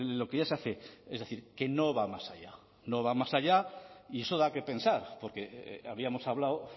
lo que ya se hace es decir que no va más allá no va más allá y eso da qué pensar porque habíamos hablado